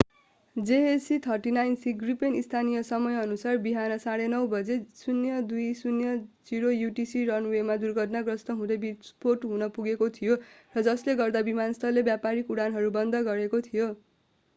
jas 39c Gripen स्थानीय समयअनुसार बिहान 9:30 बजे 0230 utc रनवेमा दुर्घटनाग्रस्त हुँदै विस्फोट हुन पुगेको थियो र जसले गर्दा विमानस्थलले व्यावसायिक उडानहरू बन्द गरेको थियो।